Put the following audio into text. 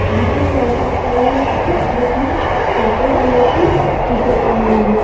यहाँ पे एक लड़का खड़ा हुआ है जिसने पर्पल कलर की टी-शर्ट पहनी हुई है।